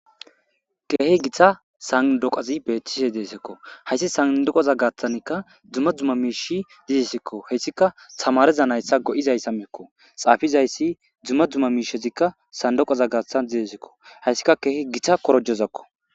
Keehi githa sandoqozi beetise deesekko hayssi sandoqoza gaathtanka dzuma dzumma miishi zizesikko heyssika samareza nayssa go,izayssa mekko xaafizayssi dzuma dzumma miishezikka sandoqoza gaathtan zizesekko hayssika keehi githa korojozakko.